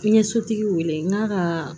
N ye sotigi wele n ga